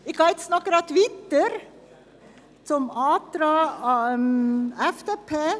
Ich gehe jetzt noch gleich weiter zum Antrag FDP/Sommer.